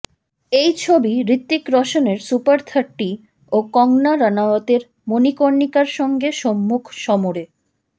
এই ছবি হৃতিক রোশানের সুপার থার্টি ও কঙ্কনা রানাওয়াতের মনিকর্ণিকার সঙ্গে সম্মুখ সমরে